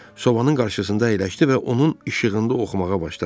Sobanın qarşısında əyləşdi və onun işığında oxumağa başladı.